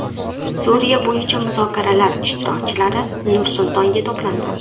Suriya bo‘yicha muzokaralar ishtirokchilari Nur-Sultonga to‘plandi.